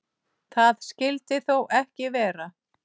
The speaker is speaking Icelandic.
Það skyldi þó ekki vera.